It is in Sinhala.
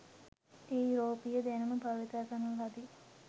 මේ යුරෝපීය දැනුම භාවිත කරන ලදි.